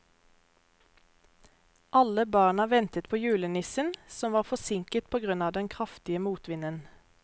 Alle barna ventet på julenissen, som var forsinket på grunn av den kraftige motvinden.